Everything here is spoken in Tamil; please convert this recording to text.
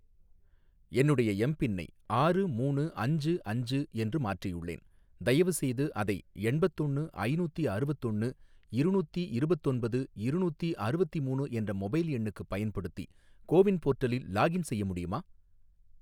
என்னுடைய எம்பின்னை ஆறு மூணு அஞ்சு அஞ்சு என்று மாற்றியுள்ளேன், தயவுசெய்து அதை எண்பத்தொன்னு ஐநூத்தி அறுவத்தொன்னு இருநூத்தி இருபத்தொன்பது இருநூத்தி அறுவத்திமூணு என்ற மொபைல் எண்ணுக்குப் பயன்படுத்தி கோ வின் போர்ட்டலில் லாகின் செய்ய முடியுமா?